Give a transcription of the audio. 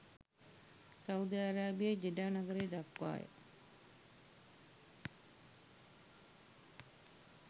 Saudi අරාබියේ Jeddah නගරය දක්වාය